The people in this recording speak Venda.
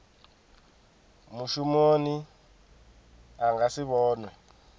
mushumi a nga si vhonwe